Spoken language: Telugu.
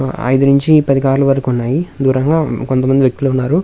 ఐదు నుంచి పది కార్ లు వరకు ఉన్నాయి దూరంగా కొంతమంది వ్యక్తులు ఉన్నారు.